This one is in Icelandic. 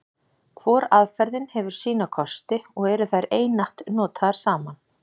Hvor aðferðin hefur sína kosti, og eru þær einatt notaðar saman.